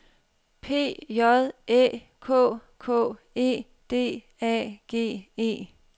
P J Æ K K E D A G E